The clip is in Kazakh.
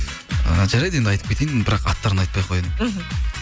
ыыы жарайды енді айтып кетейін бірақ аттарын айтпай ақ қояйын мхм